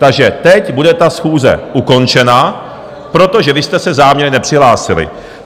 Takže teď bude ta schůze ukončena, protože vy jste se záměrně nepřihlásili.